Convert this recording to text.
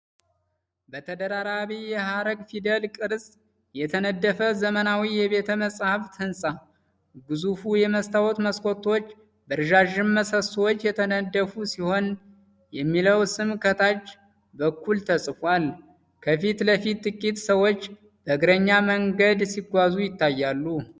በተደራራቢ የሐረግ ፊደል ቅርጽ የተነደፈ ዘመናዊ የቤተ-መጻሕፍት ህንፃ። ግዙፉ የመስታወት መስኮቶች በረዣዥም ምሰሶዎች የተደገፉ ሲሆን፣ የሚለው ስም ከታች በኩል ተጽፏል። ከፊት ለፊት ጥቂት ሰዎች በእግረኛ መንገድ ሲጓዙ ይታያሉ።